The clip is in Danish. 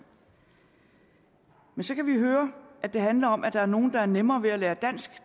så kan vi høre at det handler om at der er nogle der har nemmere ved at lære dansk